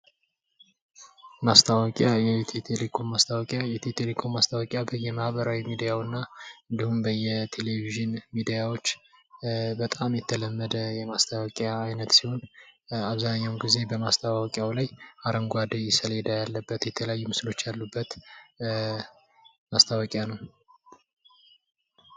ማስታወቂያ የኢትዮቴሌኮም ማስታወቂያ የኢትዮቴሌኮም ማስታወቂያ ማህበራዊ ሚድያውና እንዲሁም በየቴሌቪዥን ሚዲያዎች በጣም የተለመደ የማስታወቂያ አይነት ሲሆን አብዛኛውን ጊዜ በማስታወቂያው ላይ አረንጋዴ ሰሌዳ ያለበት የተለያዩ ምስሎች አሉበት ማስታወቂያ ነው።